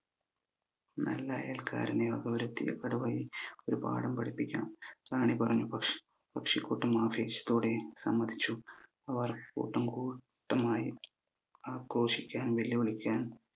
കടുവയെ ഒരു പാഠം പഠിപ്പിക്കണം റാണി പറഞ്ഞു പക്ഷി പക്ഷി കൂട്ടം ആവേശത്തോടെ സമ്മതിച്ചു അവർ കൂട്ടം കൂട്ടമായി ക്കാൻ വെല്ല് വിളിക്കാൻ